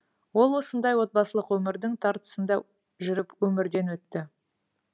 ол осындай отбасылық өмірдің тартысында жүріп өмірден өтті